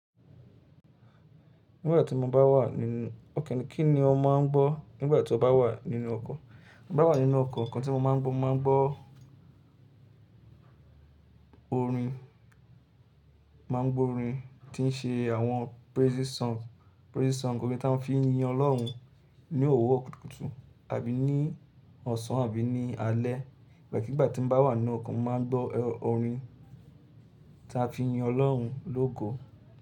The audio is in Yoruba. Nígbà tí mo bá wà nínú ọkọ̀, kí ni ọ máa ń gbọ́ nígbà tí o bá wà nínú ọkọ̀? Bí mo bá wà nínú ọkọ̀ kan tí mo máa ń gbọ́, mo máa ń gbọ́ orin, máa ń gbọ́ orin tí ń ṣe àwọn praising song. Praising song ni ó re táa ń fi yin Ọlọ́run ní òwurọ kútúkùtù àbí ní ọ̀sán àbí ní alẹ́. Ìbẹ́ẹ̀ kí ìgbà tí mo bá wà nínu ọkọ̀, mo máa ń gbọ́ orin táa fi yin Ọlọ́run lógo.